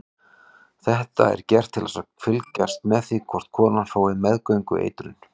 Þetta er gert til að fylgjast með því hvort konan fái meðgöngueitrun.